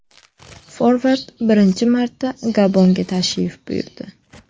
Forvard birinchi marta Gabonga tashrif buyurdi.